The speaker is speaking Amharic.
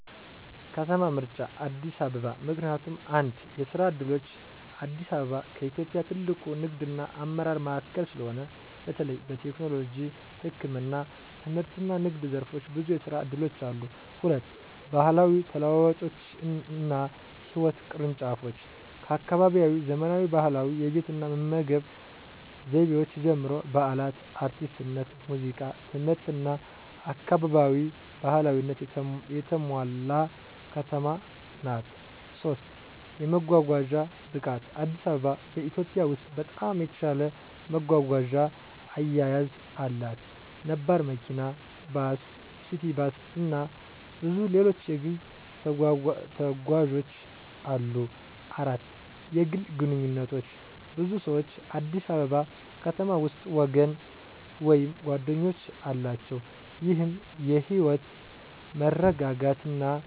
ከተማ ምርጫ አዲስ አበባ ምክንያቱም፦ 1. የስራ ዕድሎች: አዲስ አበባ ከኢትዮጵያ ትልቁ ንግድና አመራር ማዕከል ስለሆነ፣ በተለይ በቴክኖሎጂ፣ ህክምና፣ ትምህርትና ንግድ ዘርፎች ብዙ የስራ እድሎች አሉ። 2. ባህላዊ ተለዋዋጮችና ህይወት ቅርንጫፎች: ከአካባቢያዊ ዘመናዊ ባህላዊ የቤት እና መመገብ ዘይቤዎች ጀምሮ፣ በዓላት፣ አርቲስትነት፣ ሙዚቃ፣ ትምህርትና አካባቢ ባህላዊነት የተሞላ ከተማ ናት። 3. የመጓጓዣ ብቃት: አዲስ አበባ በኢትዮጵያ ውስጥ በጣም የተሻለ መጓጓዣ አያያዝ አላት። ነባር መኪና፣ ባስ፣ ሲቲ ባስ፣ እና ብዙ ሌሎች የግል ተጓዦች አሉ። 4. የግል ግንኙነቶች: ብዙ ሰዎች አዲስ አበባ ከተማ ውስጥ ወገን ወይም ጓደኞች አላቸው፣ ይህም የህይወት መረጋጋትና መተማመን ያበረታታል።